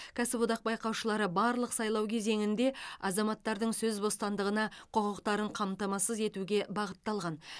кәсіподақ байқаушылары барлық сайлау кезеңінде азаматтардың сөз бостандығына құқықтарын қамтамасыз етуге бағытталған